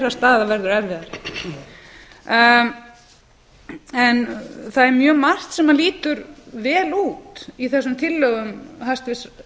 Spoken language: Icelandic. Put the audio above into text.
þess verður erfiðari það er mjög margt sem lítur vel út í þessum tillögum hæstvirts